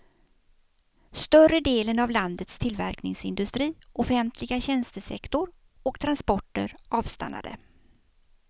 Större delen av landets tillverkningsindustri, offentliga tjänstesektor och transporter avstannade.